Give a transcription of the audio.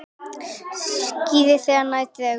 Það skýrist þegar nær dregur.